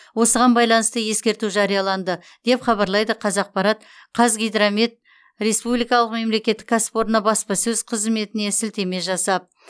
осыған байланысты ескерту жарияланды деп хабарлайды қазақпарат қазгидромет республикалық мемлекеттік кәсіпорны баспасөз қызметіне сілтеме жасап